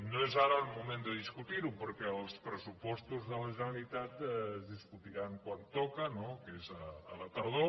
no és ara el moment de discutir ho perquè els pressupostos de la generalitat es discutiran quan toca no que és a la tardor